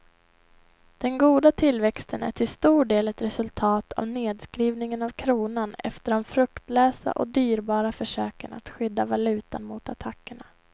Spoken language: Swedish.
Den goda tillväxten är till stor del ett resultat av nedskrivningen av kronan efter de fruktlösa och dyrbara försöken att skydda valutan mot attackerna.